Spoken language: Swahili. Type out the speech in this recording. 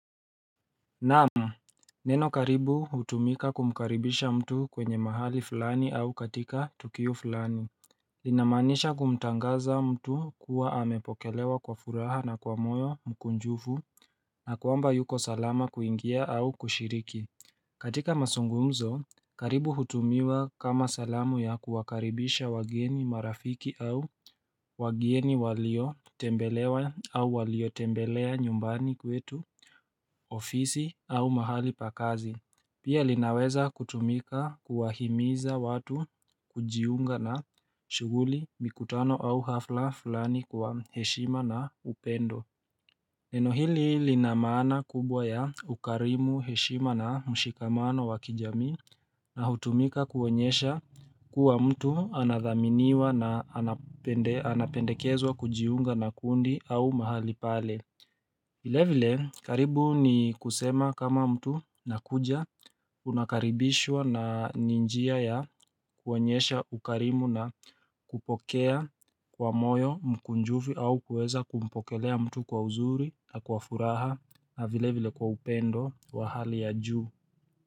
Naam, neno karibu hutumika kumkaribisha mtu kwenye mahali fulani au katika tukio fulani Linamaanisha kumtangaza mtu kuwa amepokelewa kwa furaha na kwa moyo mkunjufu na kwamba yuko salama kuingia au kushiriki. Katika mazungumzo karibu hutumiwa kama salamu ya kuwakaribisha wageni, marafiki au wageni waliotembelewa au waliotembelea nyumbani kwetu ofisi au mahali pa kazi Pia linaweza kutumika kuwahimiza watu kujiunga na shughuli, mikutano au hafla fulani kwa heshima na upendo Neno hili lina maana kubwa ya ukarimu, heshima na mshikamano wa kijamii na hutumika kuonyesha kuwa mtu anathaminiwa na anapendekezwa kujiunga na kundi au mahali pale vile vile karibu ni kusema kama mtu nakuja unakaribishwa na ni njia ya kuonyesha ukarimu na kupokea kwa moyo mkunjufu au kuweza kumpokelea mtu kwa uzuri na kwa furaha na vile vile kwa upendo wa hali ya juu.